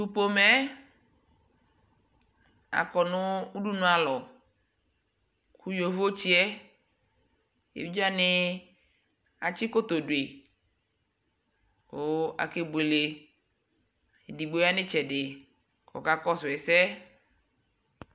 aƒʋkpa, aƒʋkpa sɔɔ lakʋ atani adʋ nʋ tɛ ɛkplɔɛ aɣa, akɛyi, ɔlɛ aƒʋkpa kʋayɔ ala layɔ kɛlɛ, ayɔ ʋƒa ni yɔkɛlɛ ɛkʋni nʋ ayi aɣa kʋ aka kʋ aƒʋkpa wani abʋɛ nʋ ɔmʋ kʋ adʋnʋ store kʋ akɛyi